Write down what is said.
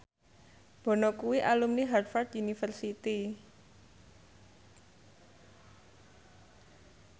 Bono kuwi alumni Harvard university